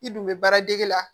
I dun bɛ baaradege la